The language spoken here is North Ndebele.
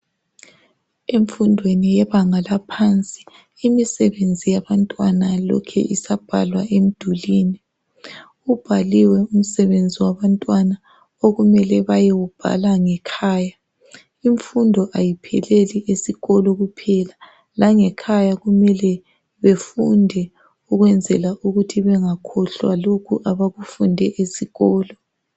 Emfundweni yebanga laphansi imisebenzi yabantwana lokhe isabhalwa emdulini. Ubhaliwe umsebenzi wabantwana okumele bayewubhala ngekhaya. Imfundo ayipheleli esikolo kuphela langekhaya kumele befunde ukwenzela ukuthi bengakhohlwa lokhu abakufunde esikolo.